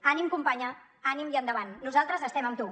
ànim companya ànim i endavant nosaltres estem amb tu